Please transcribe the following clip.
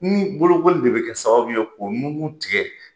Ni bolokoli de bɛ kɛ sababu ye k'o nugun tigɛ.